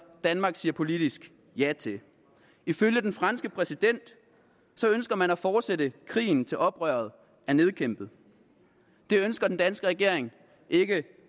danmark siger politisk ja til ifølge den franske præsident ønsker man at fortsætte krigen til oprøret er nedkæmpet det ønsker den danske regering ikke